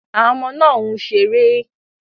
Àwọn ọmọ náà ń ṣeré.